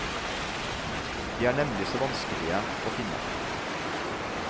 De er nemlig så vanskelige å finne.